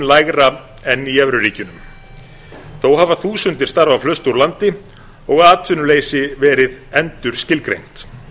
lægra en í evruríkjunum þó hafa þúsundir starfa flust úr landi og atvinnuleysi verið endurskilgreint